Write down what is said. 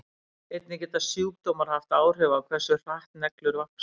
Einnig geta sjúkdómar haft áhrif á hversu hratt neglur vaxa.